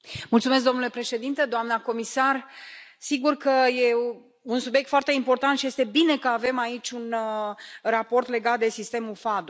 Domnule președinte, doamna comisar, sigur că e un subiect foarte important și este bine că avem aici un raport legat de sistemul FADO.